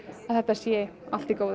þetta sé allt í góðu